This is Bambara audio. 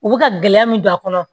U bɛ ka gɛlɛya min don a kɔnɔ